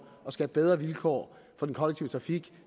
at skabe bedre vilkår for den kollektive trafik